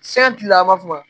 Se kilela ma kuma